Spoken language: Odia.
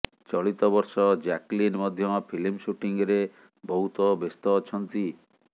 ଚଳିତ ବର୍ଷ ଜ୍ୟାକଲିନ ମଧ୍ୟ ଫିଲ୍ମ ସୁଟିଂରେ ବହୁତ ବ୍ୟସ୍ତ ଅଛନ୍ତି